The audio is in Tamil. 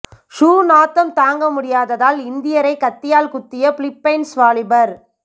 ஷூ நாத்தம் தாங்க முடியாததால் இந்தியரை கத்தியால் குத்திய பிலிப்பைன்ஸ் வாலிபர்